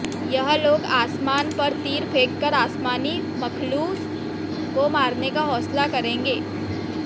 यह लोग आसमान पर तीर फ़ेंक कर आसमानी मख़लूक़ को मारने का होंसला करेंगे